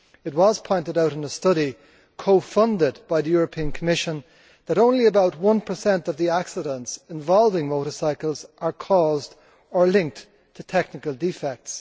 It was pointed out in a study co funded by the European Commission that only about 1 of accidents involving motorcycles are caused or linked to technical defects.